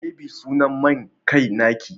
me be sunan main kai na ki?